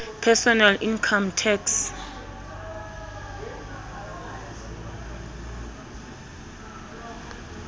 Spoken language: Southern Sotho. personal income tax